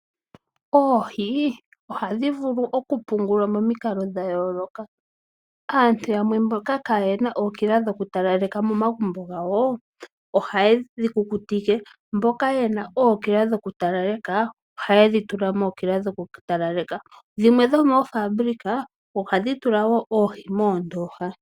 Oohi ohadhi vulu okupungulwa momikalo dha yooloka. Aantu yamwe mboka kaye na ookila dhokutalaleka momagumbo gawo ohaye dhi kukutike mboka ye na ookila dhokutalaleka ohaye dhi tula mookila dhokutalaleka. Dhimwe dhomoofabulika ohadhi tula wo oohi moondooha.